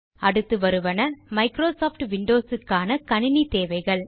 அடுத்து வருவன Microsoft Windows க்கான கணினி தேவைகள்